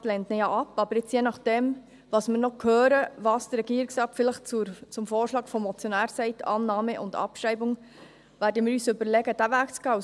Der Regierungsrat lehnt ihn ja ab, aber je nachdem, was wir noch hören, was der Regierungsrat vielleicht zum Vorschlag des Motionärs sagt, Annahme und Abschreibung, werden wir uns überlegen, diesen Weg zu gehen.